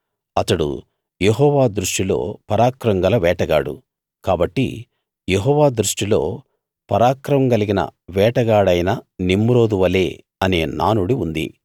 అతడు యెహోవా దృష్టిలో పరాక్రమం గల వేటగాడు కాబట్టి యెహోవా దృష్టిలో పరాక్రమం కలిగిన వేటగాడైన నిమ్రోదు వలే అనే నానుడి ఉంది